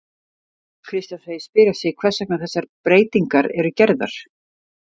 Kristján segist spyrja sig hvers vegna þessar breytingar eru gerðar?